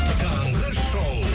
таңғы шоу